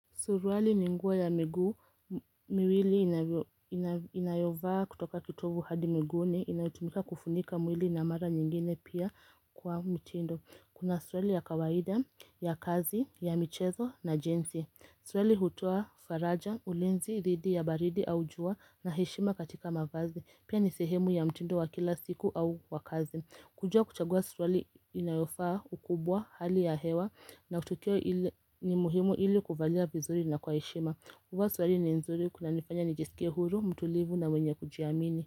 Suruali ni nguo ya miguu miwili inayovaa kutoka kitovu hadi miguuni, inayotumika kufunika mwili na mara nyingine pia kwa mtindo. Kuna suruali ya kawaida, ya kazi, ya michezo na jinsi. Suruali hutoa faraja, ulinzi dhidi ya baridi au jua na heshima katika mavazi. Pia, ni sehemu ya mtindo wa kila siku au wa kazi. Kujua kuchagua suruali inayofaa ukubwa, hali ya hewa na tukio ni muhimu ili kuvalia vizuri na kwa heshima. Kuvaa suruali ni nzuri kunanifanya nijisikie huru, mtulivu na mwenye kujiamini.